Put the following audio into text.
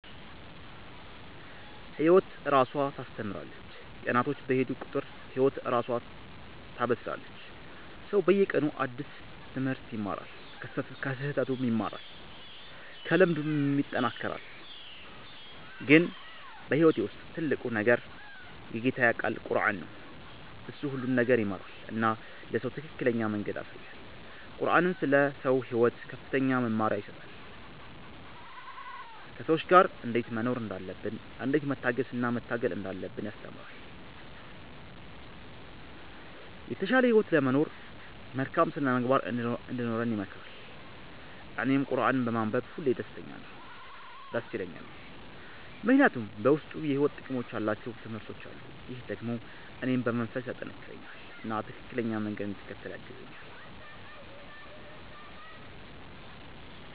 ህይወት እራሷ ታስተምራለች፤ ቀናቶች በሄዱ ቁጥር ህይወት እራሷ ታበስላለች። ሰው በየቀኑ አዲስ ትምህርት ይማራል፣ ከስህተቱም ይማራል፣ ከልምዱም ይጠናከራል። ግን በህይወቴ ውስጥ ትልቁ ነገር የጌታዬ ቃል ቁረአን ነው። እሱ ሁሉን ነገር ይመራል እና ለሰው ትክክለኛ መንገድ ያሳያል። ቁረአን ስለ ሰው ሕይወት ከፍተኛ መመሪያ ይሰጣል፤ ከሰዎች ጋር እንዴት መኖር እንዳለብን፣ እንዴት መታገስ እና መታገል እንዳለብን ያስተምራል። የተሻለ ህይወት ለመኖር መልካም ሥነ-ምግባር እንዲኖረን ይመክራል። እኔም ቁረአንን በማንበብ ሁሌ ደስ ይለኛል፣ ምክንያቱም በውስጡ የሕይወት ጥቅም ያላቸው ትምህርቶች አሉ። ይህ ደግሞ እኔን በመንፈስ ያጠናክረኛል እና ትክክለኛ መንገድ እንድከተል ያግዛኛል።